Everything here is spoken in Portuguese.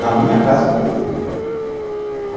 Na minha casa foi terrível.